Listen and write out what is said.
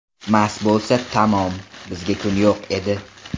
Mast bo‘lsa tamom, bizga kun yo‘q edi.